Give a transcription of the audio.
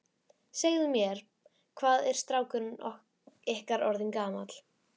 Segðu mér, hvað er strákurinn ykkar orðinn gamall?